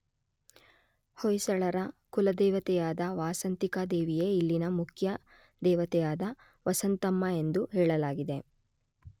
ಹೊಯ್ಸಳರ ಕುಲದೇವತೆಯಾದ ವಾಸಂತಿಕಾ ದೇವಿಯೇ ಇಲ್ಲಿನ ಮುಖ್ಯ ದೇವತೆಯಾದ ವಸಂತಮ್ಮ ಎಂದು ಹೇಳಲಾಗಿದೆ.